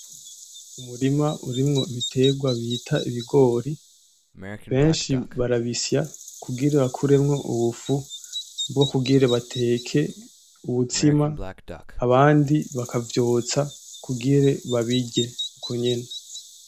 Umurima urimo ibitegwa bita ibigori. Benshi barabisya kugira bakuremo ubufu bwokugira bateke umutsima abandi bakavyotsa kugira babirye ukonyene.